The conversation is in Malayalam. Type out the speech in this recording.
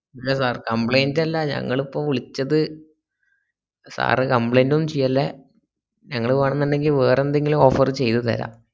complaint ന്റല്ല ഞങ്ങളിപ്പോ വില്ച്ചത് sir complaint ഒന്നും ചെയ്യല്ലേ ഞങ്ങള് വെണ്ണന്നിണ്ടങ്കി വേറെവല്ല offer ഉം ചെയ്‌തര